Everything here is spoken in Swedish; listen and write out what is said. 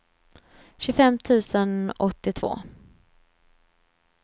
tjugofem tusen åttiotvå